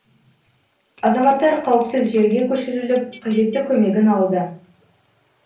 азаматтар қауіпсіз жерге көшіріліп қажетті көмегін алды